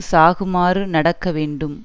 சாகுமாறு நடக்க வேண்டும்